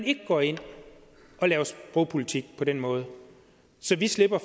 ikke går ind og laver sprogpolitik på den måde så slipper